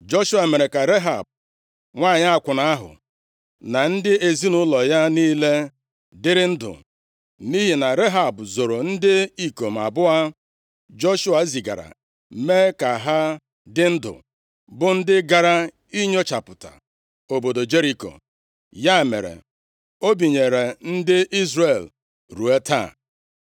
Joshua mere ka Rehab, nwanyị akwụna ahụ, na ndị ezinaụlọ ya niile dịrị ndụ. Nʼihi na Rehab zoro ndị ikom abụọ Joshua zigara, mee ka ha dị ndụ, bụ ndị gara inyochapụta obodo Jeriko. Ya mere, o binyere ndị Izrel ruo taa.